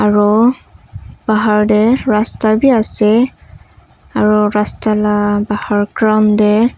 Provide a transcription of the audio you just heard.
ro bahar tey rasta bi ase aro rasta la bahar ground dey.